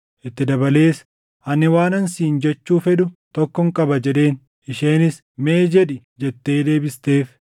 itti dabalees, “Ani waanan siin jechuu fedhu tokkon qaba” jedheen. Isheenis, “Mee jedhi” jettee deebifteef.